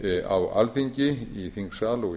á alþingi í þingsal og